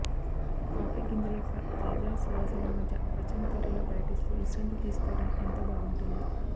coffee గింజల యొక్క తాజా సువాసనల మధ్య పచ్చని తోటల్లో పర్యటిస్తూ విశ్రాంతి తీసుకోవడం ఎంతో బాగుంటుంది